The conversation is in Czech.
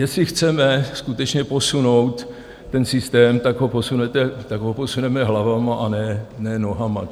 Jestli chceme skutečně posunout ten systém, tak ho posuneme hlavami, a ne nohama.